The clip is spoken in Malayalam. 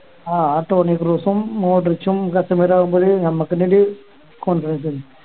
ആഹ് ആ ടോണി ക്രൂസും മോഡ്രിച്ചും സത്യം പറഞ്ഞ നമക്ക് ഒര് contribution ആണ്